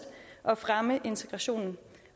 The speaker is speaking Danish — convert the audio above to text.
at fremme integrationen